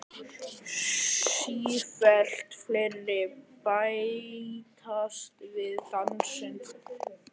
Sífellt fleiri bætast við í dansinn.